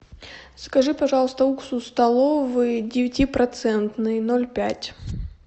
закажи пожалуйста уксус столовый девятипроцентный ноль пять